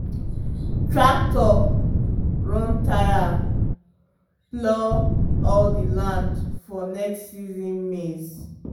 the tractor run tire plow all the land for next season maize.